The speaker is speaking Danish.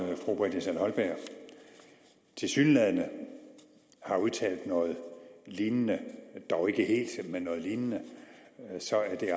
fru britta schall holberg tilsyneladende har udtalt noget lignende dog ikke helt men noget lignende så er det